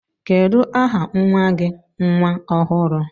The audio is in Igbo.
Kedu aha nwa gi nwa ọhụrụ?